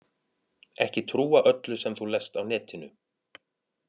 Ekki trúa öllu sem þú lest á netinu.